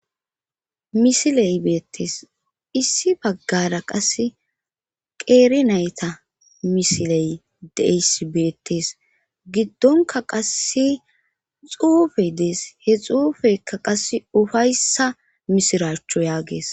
misiley beettees issi paggara qase qeeri nayta misiley deyss beettes giddonka qasse xuufe dees he xuufeykka qasse ufayssa misiraachchu yaagees